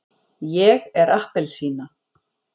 ég er appelsína.